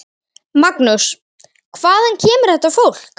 Magnús: Hvaðan kemur þetta fólk?